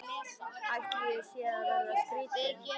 Ætli ég sé að verða skrýtin.